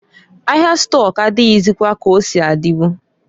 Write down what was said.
Ahia stọk adịghịzịkwa ka osi adịbu.